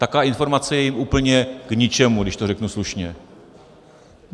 Taková informace je jim úplně k ničemu, když to řeknu slušně.